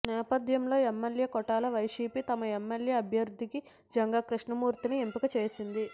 ఈ నేపథ్యంలో ఎమ్మెల్యేల కోటాలో వైసీపీ తమ ఎమ్మెల్సీ అభ్యర్థిగా జంగా కృష్ణామూర్తిని ఎంపిక చేసింది